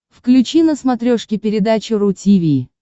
включи на смотрешке передачу ру ти ви